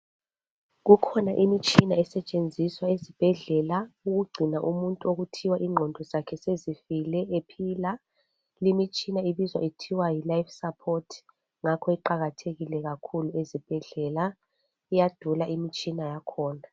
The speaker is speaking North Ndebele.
Kukhona imitshina esetshenziswa ezibhedlela ukugcina umuntu okuthiwa ingqondo zakhe sezifile ephila limitshina ibizwa kuthiwa yilife support ngakho iqakathekile kakhulu ezibhedlela iyadula imitshina yakhona.